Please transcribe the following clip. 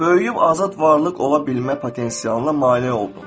Böyüyüb azad varlıq ola bilmə potensialına mane oldun.